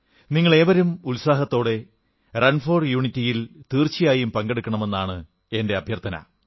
നിങ്ങളേവരും ഉത്സാഹത്തോടെ റൺഫോർ യൂണിറ്റിയിൽ തീർച്ചയായും പങ്കെടുക്കണമെന്നാണ് എന്റെ അഭ്യർഥന